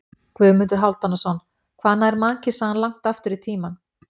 Guðmundur Hálfdanarson: Hvað nær mannkynssagan langt aftur í tímann?